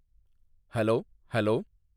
hello hello